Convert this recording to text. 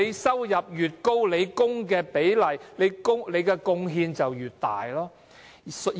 收入越高，供款比例和對制度的貢獻越大。